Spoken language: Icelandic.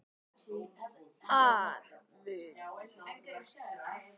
Færðu þeir brátt út kvíarnar og stækkuðu hænsnabúið að mun.